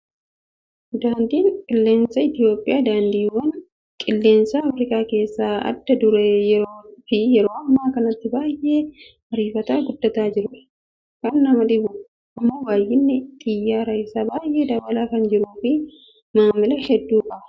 Daandiin qilleensa Itoophiyaa daandiiwwan qilleensaa afrikaa keessaa adda duree fi yeroo ammaa kanatti baay'ee ariifatee kan guddataa jirudha. Kan nama dhibu immoo baay'inni xiyyaaraa isaa baay'ee dabalaa kan jiruu fi maamila hedduu qaba.